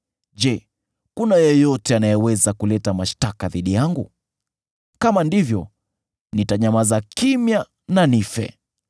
Je, kuna yeyote anayeweza kuleta mashtaka dhidi yangu? Kama ndivyo, nitanyamaza kimya na nife.